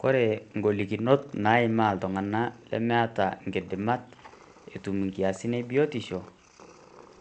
Kore ngolikinot naimaa iltung'ana lemeata inkidamat, etum inkiasin e biotisho